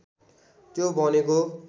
त्यो भनेको